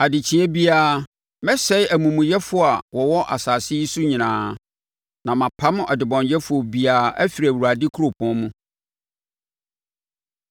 Adekyeeɛ biara, mɛsɛe amumuyɛfoɔ a wɔwɔ asase yi so nyinaa; na mapam ɔdebɔneyɛfoɔ biara afiri Awurade kuropɔn mu.